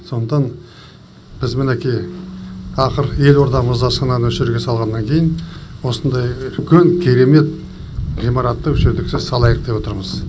сондықтан біз мінекей ақыры елордамыз астананы осы жерге салғаннан кейін осындай үлкен керемет ғимаратты осы жерге салайық деп отырмыз